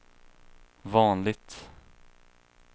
vanligt